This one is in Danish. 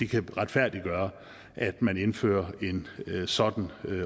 kan retfærdiggøre at man indfører en sådan